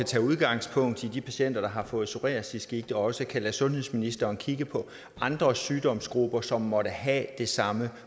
tage udgangspunkt i de patienter der har fået psoriasisgigt også kan lade sundhedsministeren kigge på andre sygdomsgrupper som måtte have det samme